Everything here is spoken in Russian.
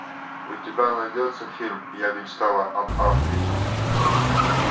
у тебя найдется фильм я мечтала об африке